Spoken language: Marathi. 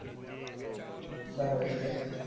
बरोबर आहे बरोबर